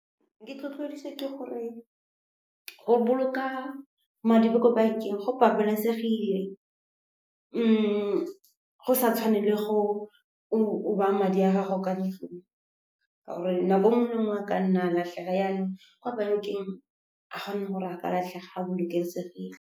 Ke itlhotlhodiswa ke gore go boloka madi ko bankeng go babalesegile go sa tshwane le go baya madi a gago ka ntlong, ka gore nako nngwe a ka nna a latlhega. Yanong kwa bankeng ga gona gore a ka latlhega, a bolokesegile.